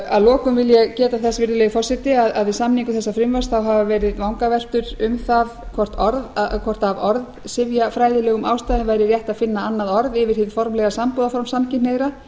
að lokum vil ég geta þess virðulegi forseti að við samningu þessa frumvarps hafa verið vangaveltur um það hvort af orðsifjafræðilegum ástæðum væri rétt að finna annað orð yfir hið formlega sambúðarform samkynhneigðra